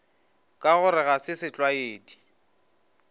ka gore ga se setlwaedi